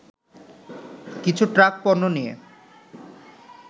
কিছু ট্রাক পণ্য নিয়ে